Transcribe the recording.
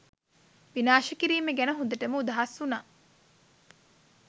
විනාශ කිරීම ගැන හොඳටම උදහස් වුනා